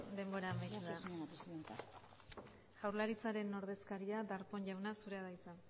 denbora amaitu da jaurlaritzaren ordezkaria darpón jauna zurea da hitza